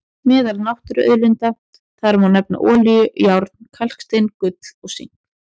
Meðal náttúruauðlinda þar má nefna olíu, járn, kalkstein, gull og sink.